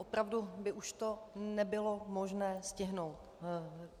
Opravdu by už to nebylo možné stihnout.